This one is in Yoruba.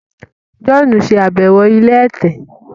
John ṣe àbẹwò ilé ẹ̀tẹ̀.